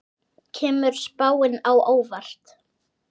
Kemur spáin á óvart?